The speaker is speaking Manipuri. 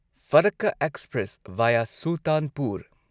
ꯐꯔꯛꯀ ꯑꯦꯛꯁꯄ꯭ꯔꯦꯁ ꯚꯥꯢꯌꯥ ꯁꯨꯜꯇꯥꯟꯄꯨꯔ